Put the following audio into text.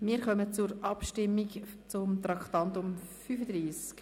Wir kommen zur Abstimmung zu Traktandum 35: «